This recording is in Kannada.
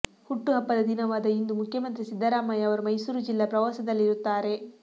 ಹುಟ್ಟು ಹಬ್ಬದ ದಿನವಾದ ಇಂದು ಮುಖ್ಯಮಂತ್ರಿ ಸಿದ್ದರಾಮಯ್ಯ ಅವರು ಮೈಸೂರು ಜಿಲ್ಲಾ ಪ್ರವಾಸದಲ್ಲಿರುತ್ತಾರೆ